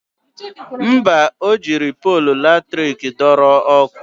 Mba, o jiri polu latrik dọrọ ọkụ